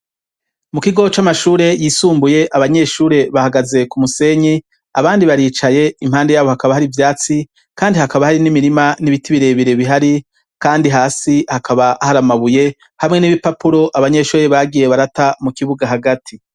Mu kigoo c'amashure yisumbuye abanyeshure bahagaze ku musenyi abandi baricaye impande yabo hakaba hari ivyatsi kandi hakaba hari n'imirima n'ibiti birebere bihari kandi hasi hakaba hari amabuye hamwe n'ibipapuro abanyeshurire bagiye barata mu kibuga hagati.